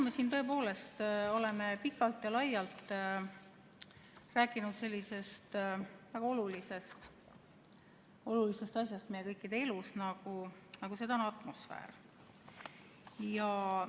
Täna me tõepoolest oleme siin pikalt ja laialt rääkinud sellisest olulisest asjast meie kõikide elus, nagu seda on atmosfäär.